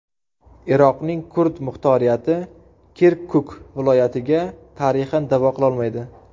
Iroqning kurd muxtoriyati Kirkuk viloyatiga tarixan da’vo qila olmaydi.